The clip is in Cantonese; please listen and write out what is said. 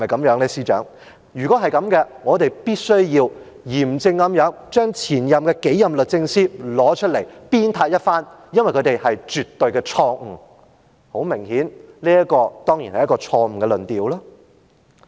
如果是這樣，我們必須嚴正地將前數任律政司司長叫出來鞭撻一番，因為他們是絕對錯誤的——很明顯，這個當然是錯誤的論調。